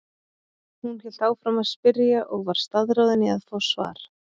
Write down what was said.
Hún hélt áfram að spyrja og var staðráðin í að fá svar.